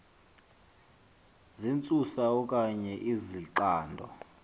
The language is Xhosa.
zentsusa okanye izixando